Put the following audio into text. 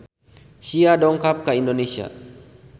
Sia dongkap ka Indonesia